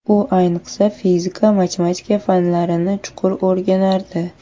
U ayniqsa fizika, matematika fanlarini chuqur o‘rganardi.